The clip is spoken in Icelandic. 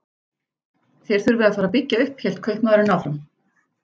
Þér þurfið að fara að byggja upp, hélt kaupmaðurinn áfram.